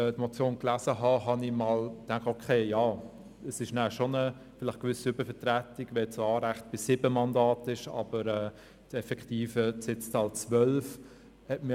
Als ich die Motion gelesen habe, dachte ich, okay, es wäre danach schon eine gewisse Übervertretung, wenn das eigentliche Anrecht bei 7 Mandaten liegt, die effektive Sitzzahl aber 12 ist.